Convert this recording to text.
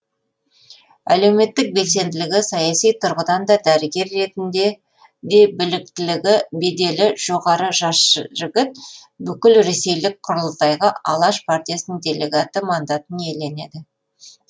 әлеуметтік белсенділігі саяси тұрғыдан да дәрігер ретінде де біліктілігі беделі жоғары жас жігіт бүкіл ресейлік құрылтайға алаш партиясының делегаты мандатын иеленеді